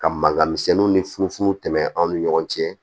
Ka mankan misɛnninw ni funfun tɛmɛn an' ni ɲɔgɔn cɛ